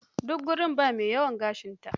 Duk gurin ba mai yawan gashinta.